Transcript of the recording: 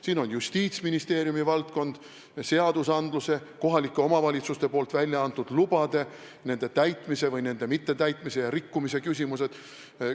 Siis on Justiitsministeeriumi valdkond: seadusandlus, kohalike omavalitsuste väljaantud lubade mittetäitmise, rikkumise küsimused.